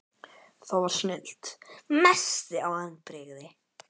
það var snilld Mestu vonbrigði?